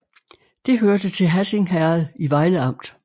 Det hørte til Hatting Herred i Vejle Amt